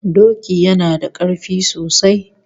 Doki yana da karfi sosai